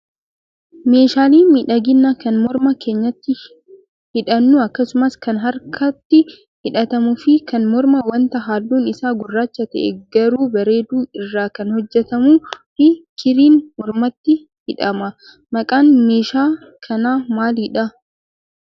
Meeshaaleen miidhaginaa kan morma keenyatti hidhannu akkasumas kan harkatti hidhatamu fi kan mormaa wanta halluun isaa gurraacha ta'e garuu bareedu irraa kan hojjatamuu fi kirriin mormatti hidhama. Maqaan meeshaa kanaa maalidhaa?